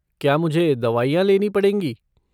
क्या मुझे दवाइयाँ लेनी पड़ेंगी?